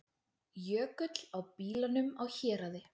Jökull á bílunum á Héraði